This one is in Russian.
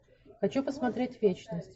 хочу посмотреть вечность